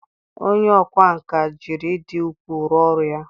onye ọkwá nkà jiri ịdị uchu rụọ ọrụ ya.